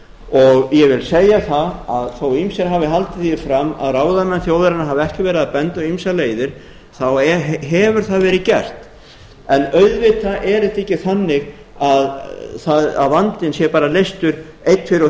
og ég vil segja það að þó ýmsir hafi haldið því fram að ráðamenn þjóðarinnar hafi ekki verið að benda á ýmsar leiðir þá hefur það verið gert en auðvitað er þetta ekki þannig að vandinn sé bara leystur einn tveir og